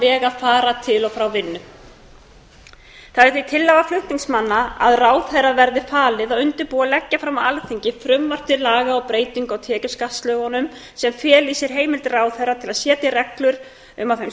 að fara til og frá vinnu það er því tillaga flutningsmanna að ráðherra verði falið að undirbúa og leggja fram á alþingi frumvarp til laga um breytingu á tekjuskattslögum sem feli í sér heimild ráðherra til að setja reglur um að þeim